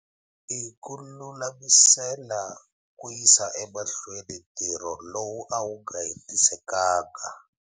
l ku lulamisela ku yisa emahlweni ntirho lowu a wu nga hetisekangi.